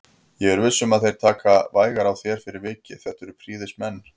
Ég er viss um að þeir taka vægar á þér fyrir vikið, þetta eru prýðismenn